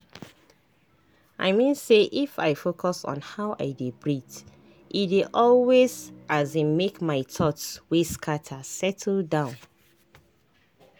i mean say if i focus on how i dey breathee dey always um make my thoughts wey scatter settle down.